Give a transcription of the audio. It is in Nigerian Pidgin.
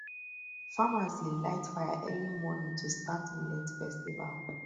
farmers dey light fire early morning to start millet festival